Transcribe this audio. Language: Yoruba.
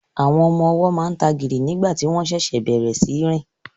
Àwọn ọmọ ọwọ́ máa ń tagìrì nígbà tí wọ́n ṣẹ̀ṣẹ̀ bẹ̀rẹ̀ sí í rìn